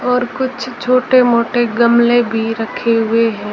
और कुछ छोटे मोटे गमले भी रखे हुए हैं।